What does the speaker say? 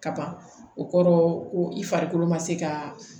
Kaban o kɔrɔ ko i farikolo ma se ka